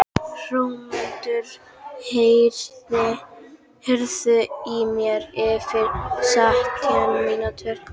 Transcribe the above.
Hrómundur, heyrðu í mér eftir sautján mínútur.